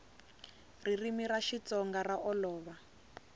ririmi ra xitsonga ra olova